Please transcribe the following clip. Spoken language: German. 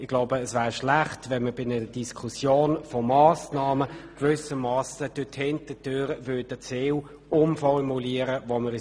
Es wäre schlecht, wenn man bei dieser Diskussion der Massnahmen die Ziele, auf die wir uns bereits geeinigt hatten, gewissermassen durch die Hintertüre umformulieren würde.